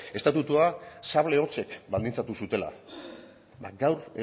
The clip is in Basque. estatutua sable hotzek baldintzatu zutela ba gaur